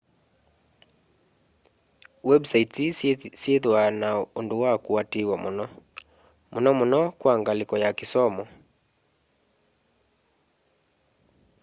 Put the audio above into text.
websites ii syithwaa na undu wa kuatiiwa muno muno muno kwa ngaliko ya kisomo